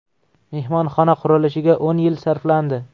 Mehmonxona qurilishiga o‘n yil sarflandi.